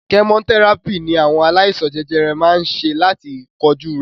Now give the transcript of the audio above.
Kẹmotẹ́ràpì ní àwọn aláìsàn jẹjẹrẹ máa ń ṣe láti kojú rẹ̀.